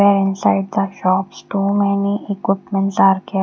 and inside the shops too many equipments are there.